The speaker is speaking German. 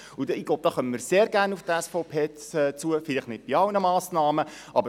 Hier werden wir sehr gerne auf die SVP zukommen, aber vielleicht nicht bei allen Massnahmen.